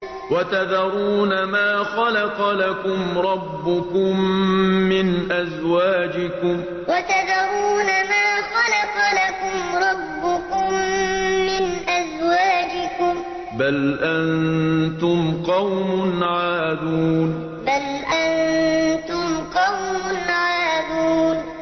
وَتَذَرُونَ مَا خَلَقَ لَكُمْ رَبُّكُم مِّنْ أَزْوَاجِكُم ۚ بَلْ أَنتُمْ قَوْمٌ عَادُونَ وَتَذَرُونَ مَا خَلَقَ لَكُمْ رَبُّكُم مِّنْ أَزْوَاجِكُم ۚ بَلْ أَنتُمْ قَوْمٌ عَادُونَ